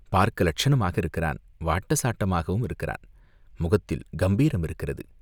பார்க்க இலட்சணமாக இருக்கிறான், வாட்டச்சாட்டமாகவும் இருக்கிறான் முகத்தில் கம்பீரம் இருக்கிறது.